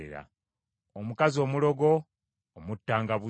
“Omukazi omulogo omuttanga bussi.